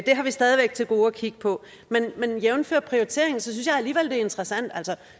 har vi stadig væk til gode at kigge på men jævnfør prioritering synes jeg alligevel det er interessant at der